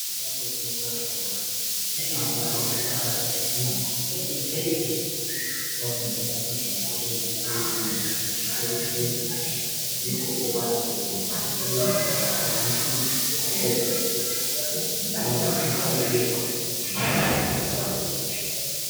Lapha abafundela ezingeni eliphezulu yikho lapho ababala khona ukuthi azwisise. Yindawo yokubalela ezifundweni zaphezulu.